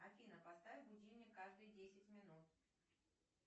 афина поставь будильник каждые десять минут